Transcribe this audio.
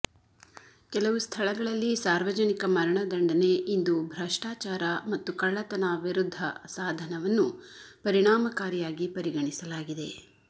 ಕೆಲವು ಸ್ಥಳಗಳಲ್ಲಿ ಸಾರ್ವಜನಿಕ ಮರಣದಂಡನೆ ಇಂದು ಭ್ರಷ್ಟಾಚಾರ ಮತ್ತು ಕಳ್ಳತನ ವಿರುದ್ಧ ಸಾಧನವನ್ನು ಪರಿಣಾಮಕಾರಿಯಾಗಿ ಪರಿಗಣಿಸಲಾಗಿದೆ